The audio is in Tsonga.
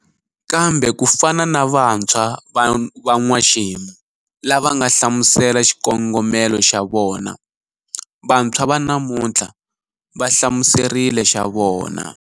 Kambe ku fana na vantshwa va n'waxemu lava nga hlamusela xikongomelo xa vona, vantshwa va namutlhla va hlamuserile xa vona.